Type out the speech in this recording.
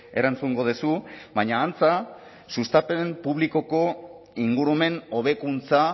erantzungo duzu baina antza sustapen publikoko ingurumen hobekuntza